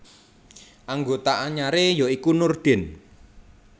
Anggota anyaré ya iku Nurdin